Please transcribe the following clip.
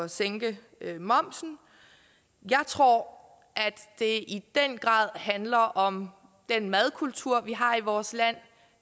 at sænke momsen jeg tror at det i den grad handler om den madkultur vi har i vores land